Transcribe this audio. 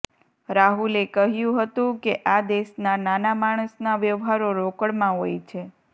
રાહુલે કહ્યું હતું કે આ દેશના નાના માણસના વ્યવહારો રોકડમાં હોય છે